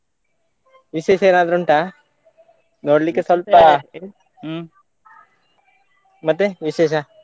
ವಿಶೇಷ ಏನಾದ್ರೂ ಉಂಟ ನೋಡ್ಲಿಕ್ಕೆ ಸ್ವಲ್ಪ ಮತ್ತೆ ವಿಶೇಷ.